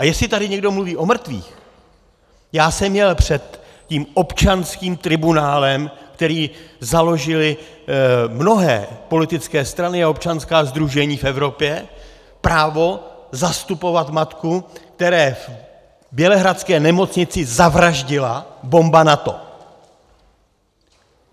A jestli tady někdo mluví o mrtvých, já jsem měl před tím občanským tribunálem, který založily mnohé politické strany a občanská sdružení v Evropě, právo zastupovat matku, které v bělehradské nemocnici zavraždila bomba NATO (?).